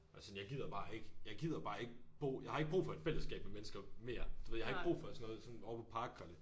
Og sådan jeg gider bare ikke jeg gider bare ikke bo jeg har ikke brug for et fællesskab med mennesker mere du ved jeg har ikke brug for sådan noget som over på park kolle